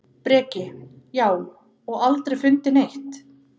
Breki: Já, og aldrei fundið neitt?